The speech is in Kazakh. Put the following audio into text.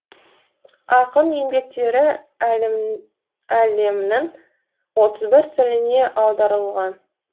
ақын еңбектері әлемнің отыз бір тіліне аударылған